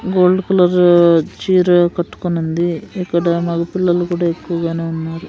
Gold colour చీర కట్టుకునుంది ఇక్కడ మగ పిల్లలు కూడా ఎక్కువగానే ఉన్నారు.